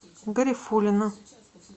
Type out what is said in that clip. гарифуллина